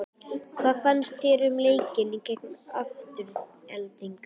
Hvað fannst þér um leikinn gegn Aftureldingu?